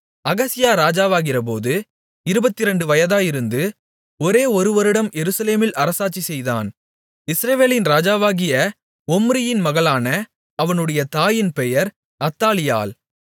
அகசியா ராஜாவாகிறபோது இருபத்திரண்டு வயதாயிருந்து ஒரே ஒரு வருடம் எருசலேமில் அரசாட்சி செய்தான் இஸ்ரவேலின் ராஜாவாகிய ஒம்ரியின் மகளான அவனுடைய தாயின் பெயர் அத்தாலியாள்